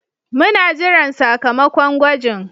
Muna jiran sakamakon gwajin.